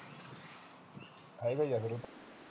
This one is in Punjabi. ਇਹੋ ਜਿਹਾ ਫਿਰ